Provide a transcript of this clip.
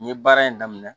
N ye baara in daminɛ